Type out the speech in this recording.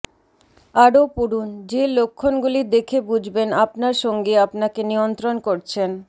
আরও পড়ুন যে লক্ষণগুলি দেখে বুঝবেন আপনার সঙ্গী আপনাকে নিয়ন্ত্রণ করছেন